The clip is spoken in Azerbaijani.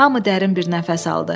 Hamı dərin bir nəfəs aldı.